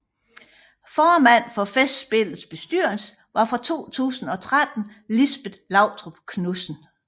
Formand for Festspillets bestyrelse var fra 2013 Lisbet Lautrup Knudsen